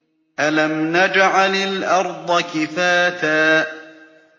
أَلَمْ نَجْعَلِ الْأَرْضَ كِفَاتًا